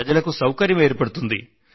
ప్రజలకు సౌకర్యం ఏర్పడుతుంది